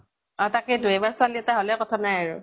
অ তাকেই তো, এইবাৰ ছোৱালী এটা হʼলে কথা নাই আৰু।